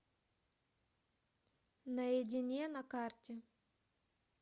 наедине на карте